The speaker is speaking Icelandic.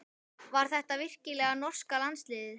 Var þetta virkilega norska landsliðið?